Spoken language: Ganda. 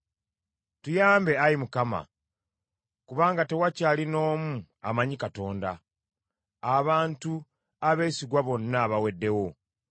Tuyambe, Ayi Mukama , kubanga tewakyali n’omu amanyi Katonda; abantu abeesigwa bonna baweddewo.